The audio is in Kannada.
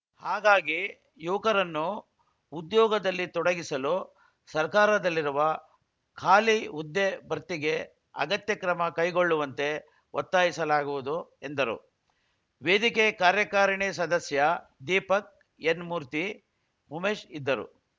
ಹಾಗಾಗಿ ಯುವಕರನ್ನು ಉದ್ಯೋಗದಲ್ಲಿ ತೊಡಗಿಸಲು ಸರ್ಕಾರದಲ್ಲಿರುವ ಖಾಲಿ ಹುದ್ದೆ ಭರ್ತಿಗೆ ಅಗತ್ಯ ಕ್ರಮ ಕೈಗೊಳ್ಳುವಂತೆ ಒತ್ತಾಯಿಸಲಾಗುವುದು ಎಂದರು ವೇದಿಕೆ ಕಾರ್ಯಕಾರಿಣಿ ಸದಸ್ಯ ದೀಪಕ್‌ ಎನ್‌ಮೂರ್ತಿ ಉಮೇಶ್‌ ಇದ್ದರು